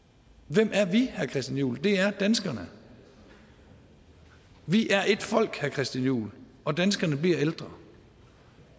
hvem er vi herre christian juhl det er danskerne vi er ét folk herre christian juhl og danskerne bliver ældre